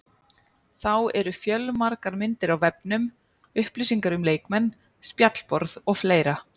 Þá eru fjölmargar myndir á vefnum, upplýsingar um leikmenn, spjallborð og fleira.